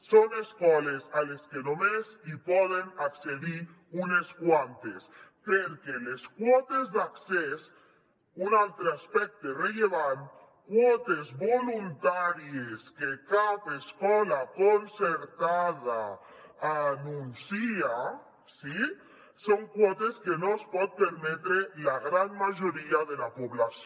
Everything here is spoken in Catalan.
són escoles a les que només poden accedir unes quantes perquè les quotes d’accés un altre aspecte rellevant quotes voluntàries que cap escola concertada anuncia sí són quotes que no es poden permetre la gran majoria de la població